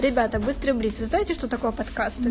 ребята быстро блиц вы знаете что такое подкасты